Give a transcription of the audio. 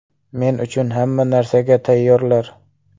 Men uchun hamma narsaga tayyorlar.